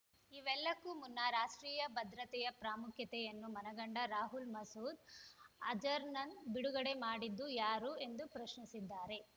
ಇವೆಲ್ಲಕ್ಕೂ ಮುನ್ನ ರಾಷ್ಟ್ರೀಯ ಭದ್ರತೆಯ ಪ್ರಾಮುಖ್ಯತೆಯನ್ನು ಮನಗಂಡ ರಾಹುಲ್ ಮಸೂದ್ ಅಜರ್‌ನನ್ನ ಬಿಡುಗಡೆ ಮಾಡಿದ್ದು ಯಾರು ಎಂದು ಪ್ರಶ್ನಿಸಿದ್ದಾರೆ